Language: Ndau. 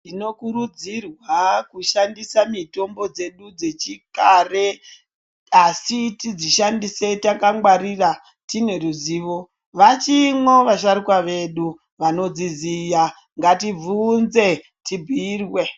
Tinokurudzirwa kushandisa mitombo dzedu dzechikare asi tidzishandise takangwarira tine ruziwo . Vachimwo vasharukwa vedu vanodziziya ngatibvunze tubhuyirwe.